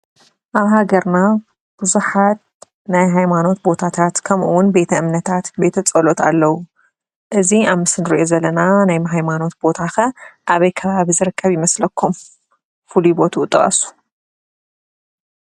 ኣብ ሃገርና ቡዙሓት ናይ ሃይማኖት ቦታታት ከምኡ እውን ቤተ እምነታት ቤተፀሎት ኣለዉ፡፡ እዚ ኣብ ምስሊ እንሪኦ ዘለና ናይ ሃይማኖት ቦታ ከ ኣበይ ከባቢ ዝርከብ ይመስለኩም? ፍሉይ ቦትኡ ጥቀሱ?